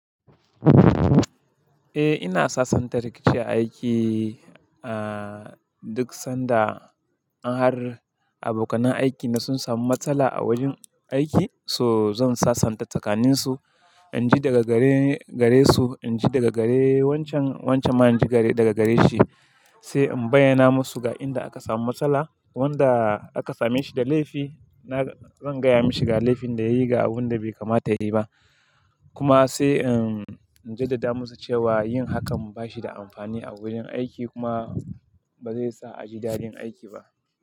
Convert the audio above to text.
Eh ina sasanta rikici aiki, ah duk sanda in har abokanai aikina sun samu matsala a wajen aiki, so zan sasanta tsakaninsu. In ji daga gare- garesu, in ji daga gare wancan-wancan, man ji gare-daga gare shi, sai in bayyana masu ga inda aka samu matsala. Wanda aka same shi da laifi, na zan gaya mashi ga laifin da yayi ga abun da bai kamata yayi ba. Kuma sai in jaddada musu cewa yin hakan ba shi da amfani a wurin aiki kuma ba zai sa a ji dadin aiki ba.